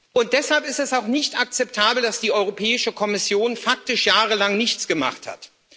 Und deshalb ist es auch nicht akzeptabel, dass die Europäische Kommission faktisch jahrelang nichts gemacht hat.